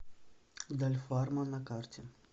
дальфарма на карте